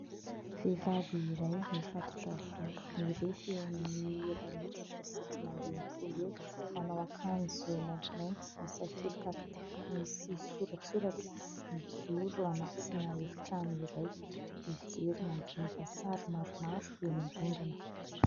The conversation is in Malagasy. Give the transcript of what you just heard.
Vehivavy iray mifatotra volo, mirefy eo amin'ny iray metatra sy dimy amby enimpolo eo, manao akanjo maintimainty, misakelika kitapo misy soratsoratra, mijoro anatina efitrano iray. Mijery mandinika sary maromaro eny amin'ny rindrina.